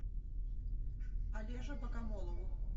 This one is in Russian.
олеже богомолову